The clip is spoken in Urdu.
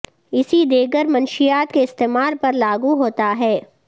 اسی دیگر منشیات کے استعمال پر لاگو ہوتا ہے